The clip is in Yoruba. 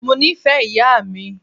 Mó nìfẹ ìyà mi.